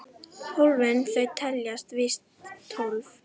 Hólfin þau teljast víst tólf.